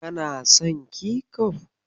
Kana son kecof?